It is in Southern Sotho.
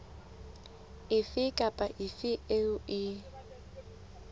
efe kapa efe eo e